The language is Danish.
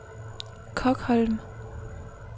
Kokholm